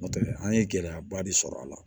N'o tɛ an ye gɛlɛyaba de sɔrɔ a la